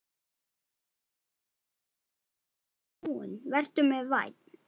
Vertu mér vænn